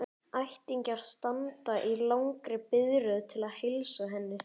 Ættingjarnir standa í langri biðröð til að heilsa henni.